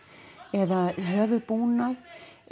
eða höfuðbúnað